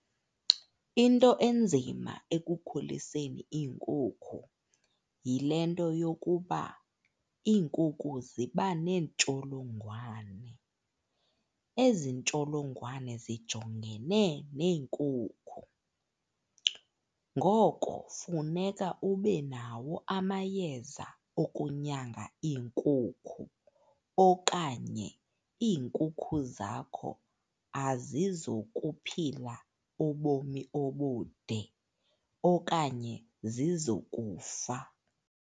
Into enzima ekukhuliseni iinkukhu yile nto yokuba iinkukhu ziba neentsholongwane. Ezi ntsholongwane zijongene neenkukhu, ngoko funeka ube nawo amayeza okunyanga iinkukhu okanye iinkukhu zakho azizokuphila ubomi obude okanye zizokufa.